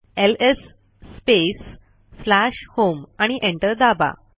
LS space slash home आणि enter दाबा